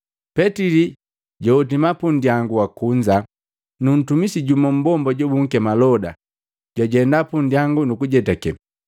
Petili jwahotima pundangu wakunza na ntumisi jumu mmbomba jobunkema Loda, jwajenda punndyangu kujeteka.